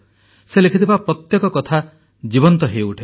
ସେ ଲେଖିଥିବା ପ୍ରତ୍ୟେକ କଥା ଜୀବନ୍ତ ହୋଇଉଠେ